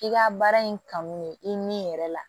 I ka baara in kanu ye i ni yɛrɛ la